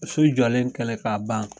So jɔlen kɛlen k'a ban